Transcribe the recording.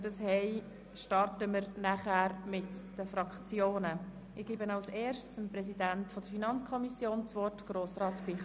Von den Antragstellern möchte ich zuerst die FiKo zu Wort kommen lassen, dann die Grossräte Guggisberg und Haas, anschliessend die Grünen, die SP-JUSO-PSA und Grossrat Mentha.